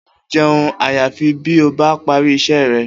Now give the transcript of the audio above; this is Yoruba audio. O ò ní je̩un àyàfi bí o bá parí is̩é re̩!